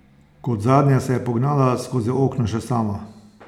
Kot zadnja se je pognala skozi okno še sama.